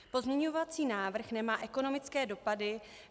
Pozměňovací návrh nemá ekonomické dopady.